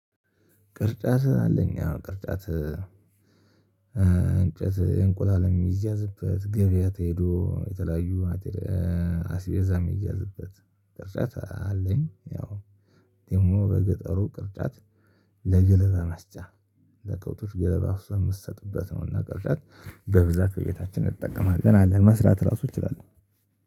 ቅርጫት አለኝ? አዎ። ቅርጫት እንጨት እንቁላል የሚያዝበት፤ ገበያ ተሄዶ የተለያዩ አስቤዛ የሚያዝበት ቅርጫት አለኝ። ያው ደግሞ በገጠሩ ቅርጫት ለገለባ መስጫ ለከብቶች ገለባ አፍሰህ የምትሰጥበት ነው። እና ቅርጫት በብዛት ቤታችን እንጠቀማለን። አለን። መስራት ራሱ እችላለሁ።